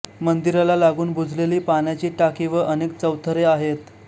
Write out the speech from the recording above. मंदिराला लागून बुजलेली पाण्याची टाकी व अनेक चौथरे आहेत